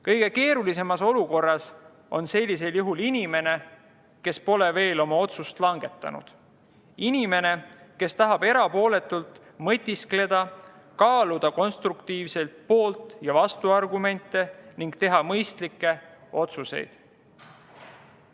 Kõige keerulisemas olukorras on sellisel juhul inimene, kes pole veel oma otsust langetanud, inimene, kes tahab erapooletult mõtiskleda, kaaluda konstruktiivselt poolt‑ ja vastuargumente ning teha mõistlikke otsuseid.